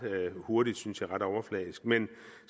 hurtigt synes jeg og ret overfladisk men